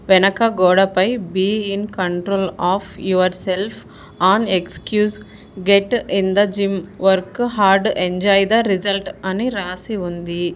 వెనక గోడపై be in control of yourself on excuse get in the gym work hard enjoy result అ ని రాసి ఉంది.